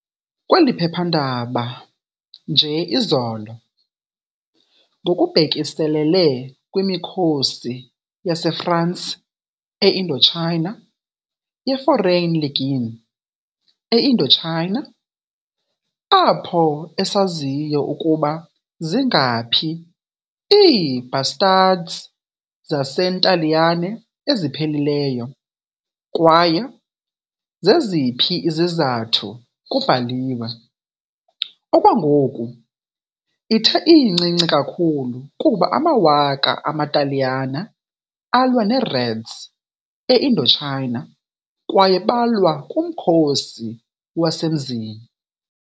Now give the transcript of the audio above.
Kweli phephandaba, nje izolo, ngokubhekiselele kwimikhosi yaseFransi e-Indochina, ye-Foreign Legion e-Indochina apho esaziyo ukuba zingaphi ii-bastards zaseNtaliyane eziphelileyo, kwaye zeziphi izizathu kubhaliwe, Okwangoku, ithe incinci kakhulu ukuba amawaka amaTaliyane alwa ne-reds e-Indochina. Kwaye balwa kuMkhosi Wasemzini.